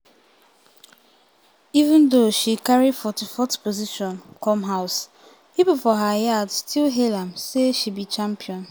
even though she carry 44th 44th position come house pipo for her yard still hail am say she be "champion".